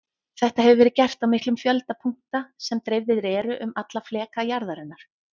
Þetta hefur verið gert á miklum fjölda punkta sem dreifðir eru um alla fleka jarðarinnar.